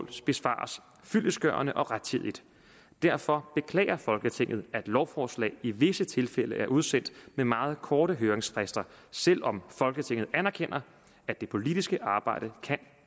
besvares fyldestgørende og rettidigt derfor beklager folketinget at lovforslag i visse tilfælde er udsendt med meget korte høringsfrister selv om folketinget anerkender at det politiske arbejde kan